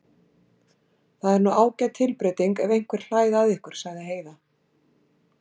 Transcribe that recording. Það er nú ágæt tilbreyting ef einhver hlær að ykkur, sagði Heiða.